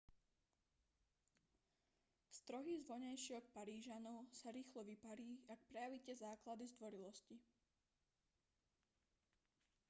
strohý zovňajšok parížanov sa rýchlo vyparí ak prejavíte základy zdvorilosti